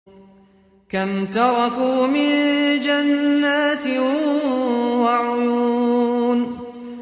كَمْ تَرَكُوا مِن جَنَّاتٍ وَعُيُونٍ